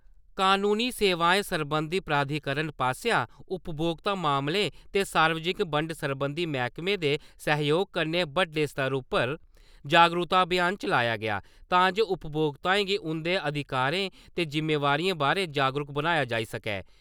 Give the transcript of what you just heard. कनूनी सेवाएं सरबंधी प्राधिकरण पासेआ उपभोक्ता मामलें ते सार्वजनिक बंड सरबंधी मैह्कमे दे सह्जोग कन्नै बड्डे स्तर उप्पर जागरूकता अभियान चलाया गेआ तां जे उपभोक्ताएं गी उं'दे अधिकारें ते जिम्मेदारिएं बारै जागरूक बनाया जाई सकै।